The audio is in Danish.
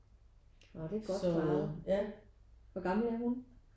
Når det er godt. Hvor gammel er hun?